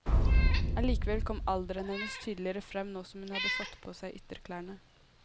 Allikevel kom alderen hennes tydeligere frem nå som hun hadde fått på seg ytterklærne.